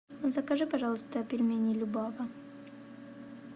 закажи пожалуйста пельмени любава